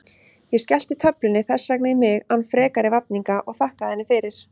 Ég skellti töflunni þess vegna í mig án frekari vafninga og þakkaði henni fyrir.